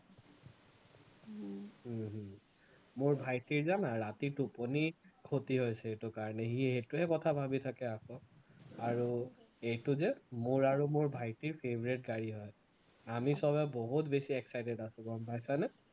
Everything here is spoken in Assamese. হম মোৰ ভাইটী জানা ৰাতি টোপনী খতি হৈছে এইটো কাৰণে সি সেইটোৱেই কথা ভাৱি থাকে আকৌ, আৰু এইটো যে মোৰ আৰু মোৰ ভাইটীৰ favorite গাড়ী হয়, আমি সৱেই বহুত বেছি excited আছো গম পাইছানে